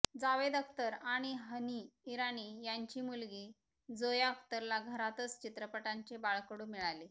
जावेद अख्तर आणि हनी ईरानी यांची मुलगी जोया अख्तरला घरातच चित्रपटांचे बाळकडू मिळाले